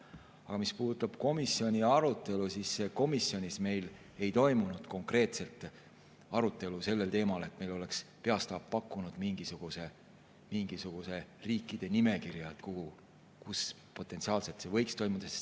Aga mis puudutab komisjoni arutelu, siis komisjonis meil ei toimunud konkreetset arutelu sellel teemal, et meile oleks peastaap pakkunud mingisuguse nimekirja riikidest, kus see potentsiaalselt võiks toimuda.